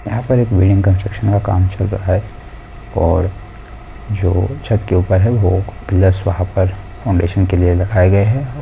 Building construction का काम चल रहा है और जो छत के ऊपर है वो पिलर्स वहाँ पर फाउंडेशन के लिए रखा गया है। और--